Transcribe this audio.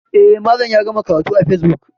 E, Malam ya gama karatu a facebook.